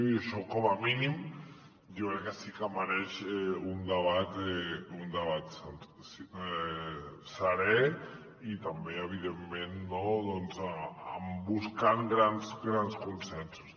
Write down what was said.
i això com a mínim jo crec que sí que mereix un debat serè i també evidentment buscant grans consensos